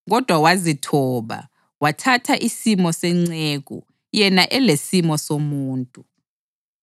kodwa wazithoba, wathatha isimo senceku, yena elesimo somuntu.